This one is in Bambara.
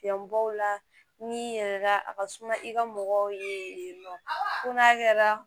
Yan baw la ni yɛrɛda a ka suma i ka mɔgɔw ye nɔ kɛra